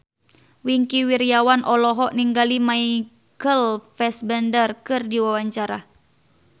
Wingky Wiryawan olohok ningali Michael Fassbender keur diwawancara